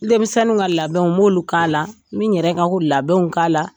Denmisɛnniw ka labɛnw n b'olu k'a la n bi n yɛrɛ ka labɛnw k'a la